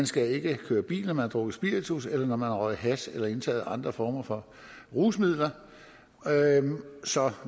skal køre bil når man har drukket spiritus eller når man har røget hash eller indtaget andre former for rusmidler så